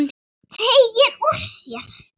Teygir úr sér.